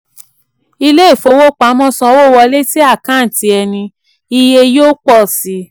ilé ìfowopamọ́ sanwó wọlé sí àkántì ẹni iye yóò pọ̀ síi.